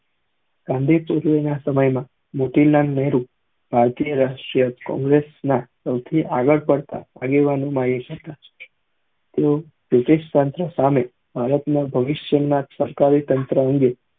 ગાંધી સમય માં મોતીલાલ નેહરુ અંતરિય રાષ્ટ્રીય કોંગ્રેસ ના સૌ થી હતા તેવો સામે ભારત ના ભવિષ્ય ના સરકારી તંત્ર અંગે